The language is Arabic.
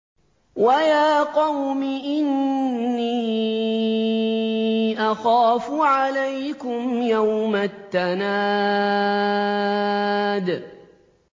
وَيَا قَوْمِ إِنِّي أَخَافُ عَلَيْكُمْ يَوْمَ التَّنَادِ